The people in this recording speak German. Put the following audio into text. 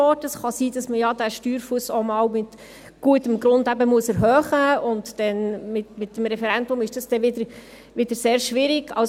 Es kann sein, dass man diesen Steuerfuss ja auch einmal mit gutem Grund erhöhen muss, und mit dem Referendum ist dies dann wieder sehr schwierig.